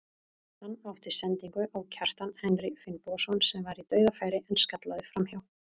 Hann átti sendingu á Kjartan Henry Finnbogason sem var í dauðafæri en skallaði framhjá.